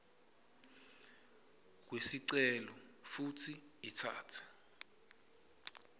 kwesicelo futsi itsatse